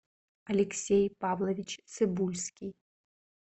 алексей павлович цыбульский